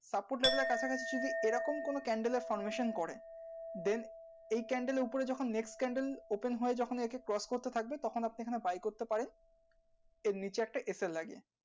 support label এর কাছা কাছি যদি এই রকম কোনো candle এর করে then এই candle এর উপরে যখন next candle open হয়ে যখন একে cross করতে থাকবে তখন আপনি এইখানে buy করতে পারেন এর নিচে একটা লাগিয়ে